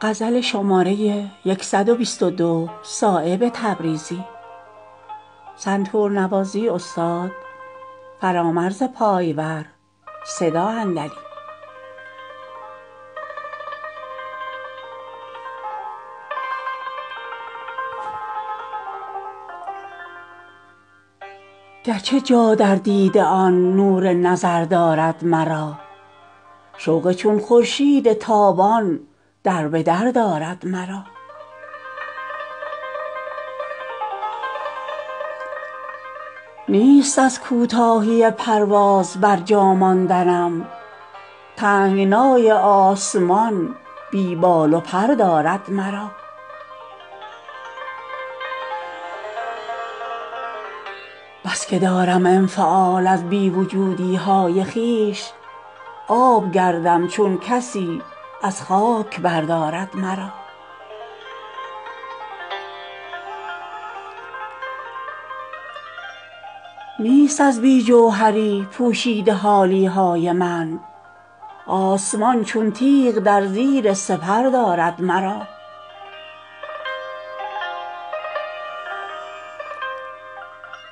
گرچه جا در دیده آن نور نظر دارد مرا شوق چون خورشید تابان دربدر دارد مرا نیست از کوتاهی پرواز برجا ماندنم تنگنای آسمان بی بال و پر دارد مرا بس که دارم انفعال از بی وجودی های خویش آب گردم چون کسی از خاک بردارد مرا نیست از بی جوهری پوشیده حالی های من آسمان چون تیغ در زیر سپر دارد مرا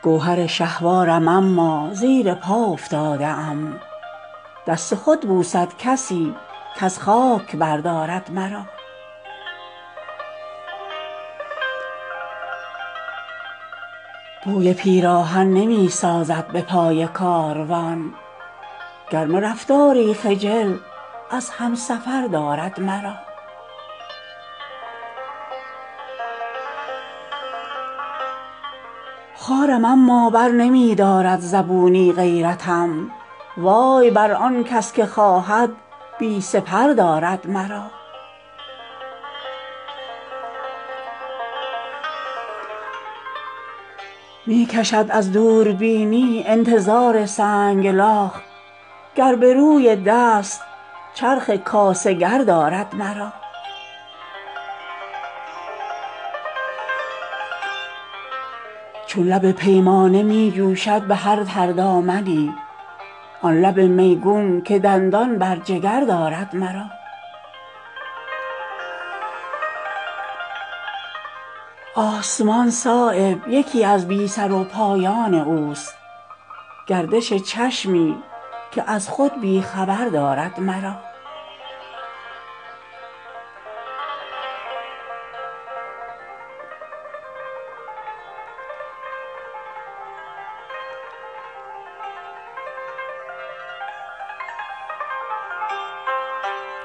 گوهر شهوارم اما زیر پا افتاده ام دست خود بوسد کسی کز خاک بردارد مرا بوی پیراهن نمی سازد به پای کاروان گرم رفتاری خجل از همسفر دارد مرا خارم اما برنمی دارد زبونی غیرتم وای بر آن کس که خواهد بی سپر دارد مرا می کشد از دوربینی انتظار سنگلاخ گر به روی دست چرخ کاسه گر دارد مرا چون لب پیمانه می جوشد به هر تر دامنی آن لب میگون که دندان بر جگر دارد مرا آسمان صایب یکی از بی سروپایان اوست گردش چشمی که از خود بی خبر دارد مرا